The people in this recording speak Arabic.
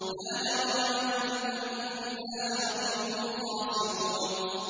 لَا جَرَمَ أَنَّهُمْ فِي الْآخِرَةِ هُمُ الْخَاسِرُونَ